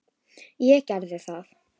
Ég geri það